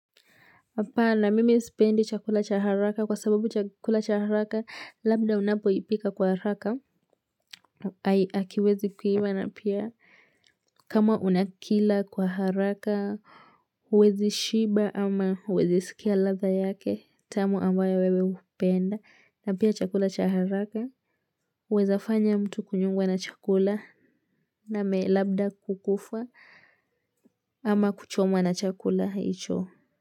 Apana, mimi sipendi chakula cha haraka kwa sababu chakula cha haraka, labda unapo ipika kwa haraka. Hakiwezi kuiva na pia kama unakila kwa haraka, huwezi shiba ama huwezi sikia ladha yake tamu ambayo wewe hupenda. Na pia chakula cha haraka, huweza fanya mtu kunyongwa na chakula name labda kukufa. Ama kuchomwa na chakula hicho.